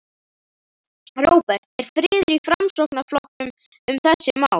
Róbert: Er friður í Framsóknarflokknum um þessi mál?